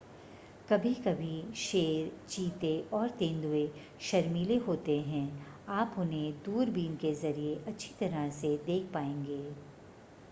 कभी-कभी शेर चीते और तेंदुए शर्मीले होते हैं आप उन्हें दूरबीन के ज़रिए अच्छी तरह से देख पाएंगे